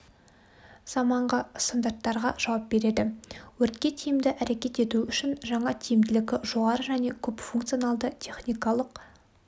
заманғы стандарттарға жауап береді өртке тиімді әрекет ету үшін жаңа тиімділігі жоғары және көпфункционалды техникалық